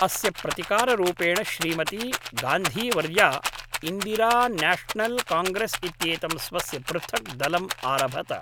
अस्य प्रतिकाररूपेण श्रीमती गान्धीवर्या इन्दिरान्याशनल् काङ्ग्रेस् इत्येतं स्वस्य पृथक् दलम् आरभत